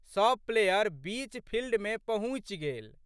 सब प्लेयर बीच फिल्डमे पहुँचि गेल।